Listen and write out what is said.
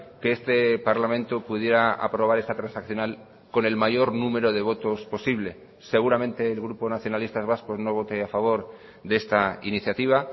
que este parlamento pudiera aprobar esta transaccional conel mayor número de votos posible seguramente el grupo nacionalistas vascos no vote a favor de esta iniciativa